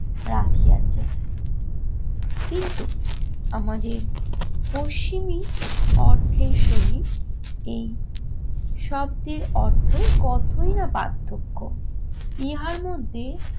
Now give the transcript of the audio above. রাখিয়াছে। কিন্তু আমাদের পশ্চিমি অর্থের সহিত এই শব্দের অর্থের কতই না পার্থক্য। ইহার মধ্যে